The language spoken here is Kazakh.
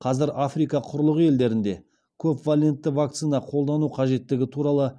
қазір африка құрлығы елдерінде көпвалентті вакцина қолдану қажеттігі туралы